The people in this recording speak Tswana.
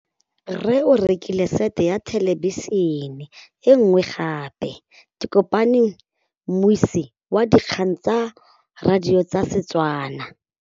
Rre o rekile sete ya thêlêbišênê e nngwe gape. Ke kopane mmuisi w dikgang tsa radio tsa Setswana.